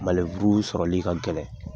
Maneburu sɔrɔli ka gɛlɛ